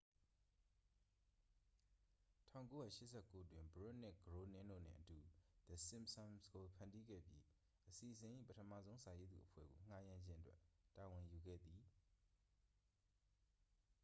1989 တွင် ဘရွတ်နှင့် ဂရိုးနင်းတို့နှင့်အတူ the simpsons ကို ဖန်တီးခဲ့ပြီး အစီအစဉ်၏ ပထမဆုံး စာရေးသူအဖွဲ့ကို ငှားရမ်းခြင်းအတွက် တာဝန်ယူခဲ့သည်